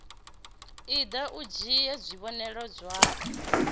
iḓa u dzhie tshivhonelo tshau